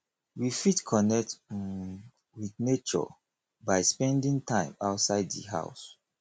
we fit connect um with nature by spending time outside di house